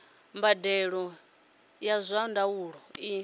mbadelo ya zwa ndaulo i